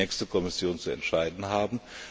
Das wird die nächste Kommission zu entscheiden haben.